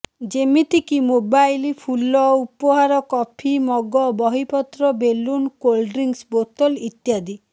ଯେମିତିକୁ mobile ଫୁଲ ଉପହାର coffee mug ବହିପତ୍ର ବେଲୁନ କୋଲ୍ଡ ଡ୍ରିଙ୍କ୍ସ ବୋତଲ ଇତ୍ୟାଦି